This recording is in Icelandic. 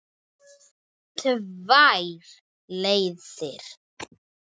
Tvær leiðir.